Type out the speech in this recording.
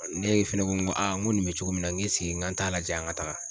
ne fɛnɛ ko ŋo ŋo nin bɛ cogo min ŋ' ŋ'an t'a lajɛ an ŋa taga